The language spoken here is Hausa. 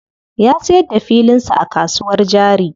Ya siyar da filin sa a kasuwar jari.